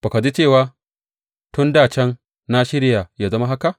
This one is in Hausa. Ba ka ji ba cewa tun dā can na shirya ya zama haka?